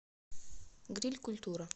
гриль культура